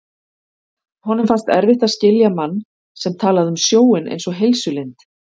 Honum fannst erfitt að skilja mann sem talaði um sjóinn einsog heilsulind.